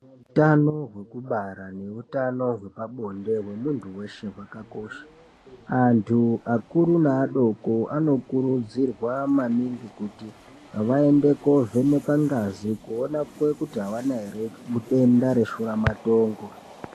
Hutano hwekubara nehutano hwepabonde hwemuntu weshe hwakakosha. Antu akuru neadoko anokurudzirwa maningi, kuti vaende koovhenekwa ngazi kuonekwa kuti havana ere denda reshuramatongo.